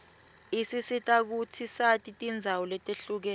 isisita kutsi sati tindzawo letihlukene